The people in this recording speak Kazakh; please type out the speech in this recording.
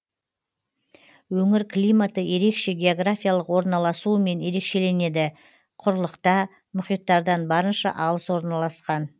өңір климаты ерекше географиялық орналасуымен ерекшеленеді құрылықта мұхиттардан барынша алыс орналасқан